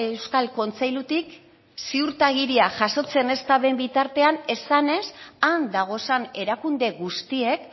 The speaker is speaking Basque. euskal kontseilutik ziurtagiria jasotzen ez dan bitartean esanez han dagozan erakunde guztiek